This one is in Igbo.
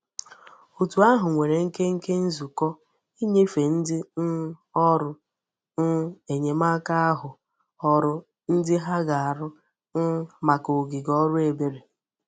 Otu ahu nwere nkenke nzuko inyefe ndi um órú um enyemaka ahu oru ndi ha ga-aru um maka ogige órú ebere.